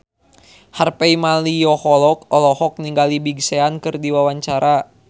Harvey Malaiholo olohok ningali Big Sean keur diwawancara